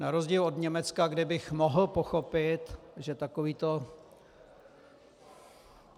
Na rozdíl od Německa, kde bych mohl pochopit, že takovýto...